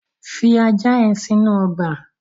Fi ajá yen sínú ogbà